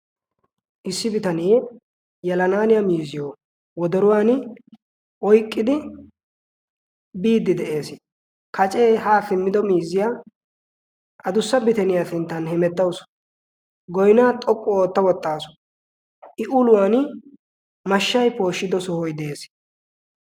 Issi bitanee yelanaaniya miizziyo wodoruwani oyqqidi biiddi de'ees, kacee haa simmido miizziya adussa bitaniya sinttan hemettawusu, goynaa xoqqu ootta wottaasi, I uluwani mashshay pooshshido sohoy de'ees